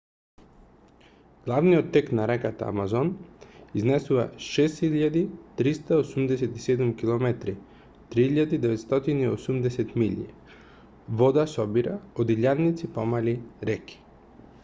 главниот тек на реката амазон изнесува 6387 км 3980 милји. вода собира од илјадници помали реки